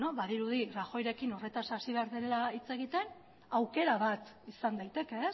badirudi rajoyrekin horretaz hasi behar dela hitz egiten aukera bat izan daiteke